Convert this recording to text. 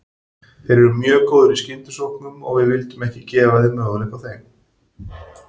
Þeir eru mjög góðir í skyndisóknum og við vildum ekki gefa þeim möguleika á þeim.